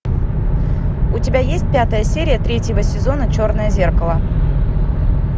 у тебя есть пятая серия третьего сезона черное зеркало